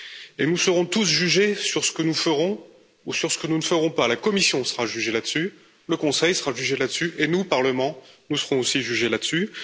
Et nous serons tous jugés sur ce que nous ferons ou sur ce que nous ne ferons pas, la Commission sera jugée là dessus, le Conseil sera jugé là dessus et nous, Parlement, nous serons aussi jugés là dessus.